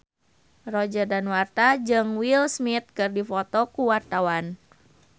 Roger Danuarta jeung Will Smith keur dipoto ku wartawan